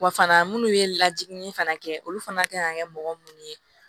Wa fana minnu ye lajiginni fana kɛ olu fana kan ka kɛ mɔgɔ mun ye